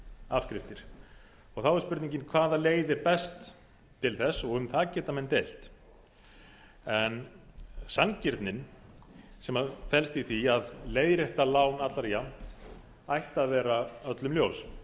afskriftir þá er spurningin hvaða leið er best til þess og um það geta menn deilt en sanngirnin sem felst í því að leiðrétta lán allra jafnt ætti að vera öllum ljós